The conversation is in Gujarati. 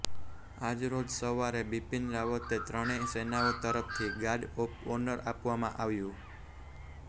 આજરોજ સવારે બિપિન રાવતે ત્રણેય સેનાઓ તરફથી ગાર્ડ ઓફ ઓનર આપવામાં આવ્યું